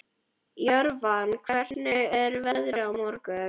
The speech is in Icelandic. Jörvar, hvernig er veðrið á morgun?